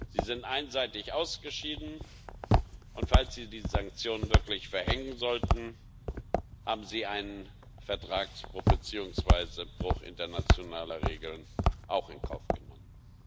Sie sind einseitig ausgeschieden, und falls sie die Sanktionen wirklich verhängen sollten, haben sie einen Vertragsbruch beziehungsweise Bruch internationaler Regeln in Kauf genommen.